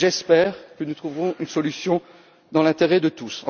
J'espère que nous trouverons une solution dans l'intérêt de tous.